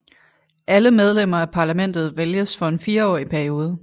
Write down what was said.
Alle medlemmer af parlamentet vælges for en fireårig periode